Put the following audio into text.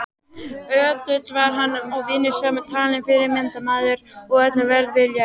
Ötull var hann og vinnusamur talinn fyrirmyndarmaður og öllum velviljaður.